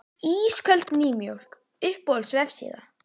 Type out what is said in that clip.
Ísköld nýmjólk Uppáhalds vefsíða?